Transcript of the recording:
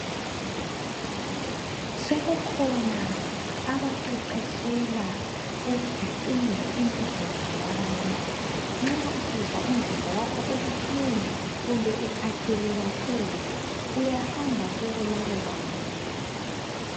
Sekukhona abaqeqetshela ukubhicinga imizimba yabantu. Nxa usizwa umzimba wakho ubuhlungu kumbe ukhathele kakhulu uyahamab kulabo bantu.